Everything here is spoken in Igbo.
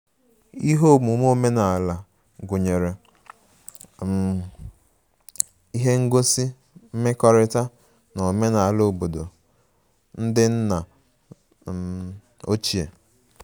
Ihe omume omenala gụnyere um ihe ngosi mmekọrịta na omenala obodo ndị nna um ochie